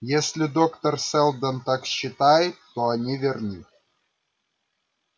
если доктор сэлдон так считает то они верны